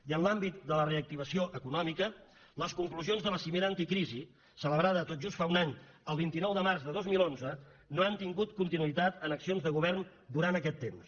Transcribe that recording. i en l’àmbit de la reactivació econòmica les conclusions de la cimera anticrisi celebrada tot just fa un any el vint nou de març de dos mil onze no han tingut continuïtat en accions de govern durant aquest temps